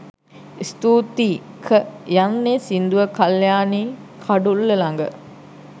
ස්තූතියි'ක' යන්නෙ සින්දුව කල්යාණී කඩුල්ල ළග